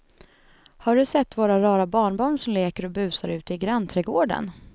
Har du sett våra rara barnbarn som leker och busar ute i grannträdgården!